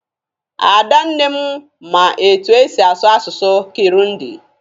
Ada nne m ma etu e si asụ asụsụ Kirundi.